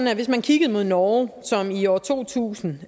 at hvis man kiggede mod norge som i år to tusind